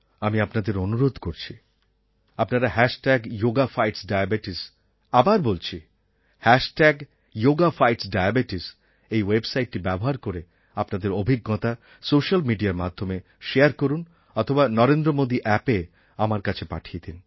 আমি আপনাদের অনুরোধ করছি আপনারা হ্যাশট্যাগ যোগা ফাইটস্ ডায়াবেটিস আবার বলছি হ্যাশট্যাগ যোগা ফাইটস্ ডায়াবেটিস এই ওয়েবসাইট ব্যবহার করে আপনাদের অভিজ্ঞতা সোস্যাল মিডিয়ার মাধ্যমে শেয়ার করুন অথবা নরেন্দ্র মোদী অ্যাপএ আমার কাছে পাঠিয়ে দিন